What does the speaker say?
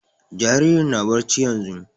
Jaririn na barci yanzun